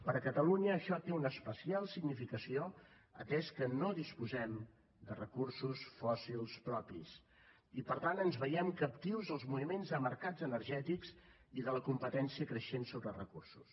per a catalunya això té una especial significació atès que no disposem de recursos fòssils propis i per tant ens veiem captius dels moviments de mercats energètics i de la competència creixent sobre recursos